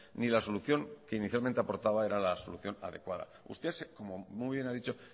ni la solución que inicialmente aportaba era la solución adecuada usted como muy bien ha dicho